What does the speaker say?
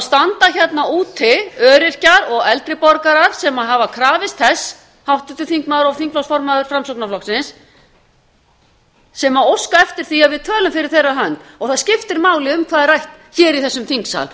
standa hérna úti öryrkjar og eldri borgarar sem hafa krafist þess háttvirtur þingmaður og þingflokksformaður framsóknarflokksins sem óska eftir því að við tölum fyrir þeirra hönd það skiptir máli um hvað er rætt hér í þessum þingsal